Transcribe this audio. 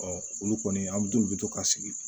olu kɔni an bɛ olu bɛ to ka sigi